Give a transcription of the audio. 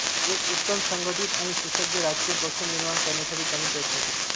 एक उत्तम संघटित आणि सुसज्ज राजकीय पक्ष निर्माण करण्यासाठी त्यांनी प्रयत्न केले